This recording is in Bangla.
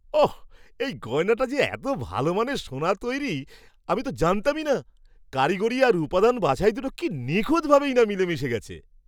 ওহ্, এই গয়নাটা যে এত ভালো মানের সোনার তৈরি তা তো আমি জানতামই না! কারিগরি আর উপাদান বাছাই দুটো কি নিখুঁতভাবেই না মিলেমিশে গেছে!